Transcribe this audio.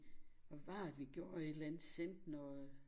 Hvad var det vi gjorde et eller andet sendte noget